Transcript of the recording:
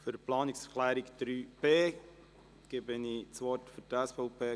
Für die Planungserklärung 3.b erteile ich Grossrat Lanz für die SVP das Wort.